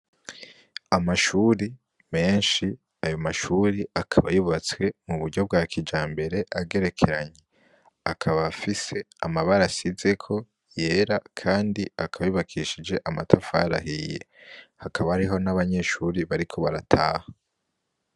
Amashure menshi, ayo mashure akaba yubatswe mu buryo bwa kijambere agerekeranye , akaba afise amabara asizeko yera kandi akaba yubakishije amatafari ahiye, hakaba hariho n'abanyeshure bariko barataha.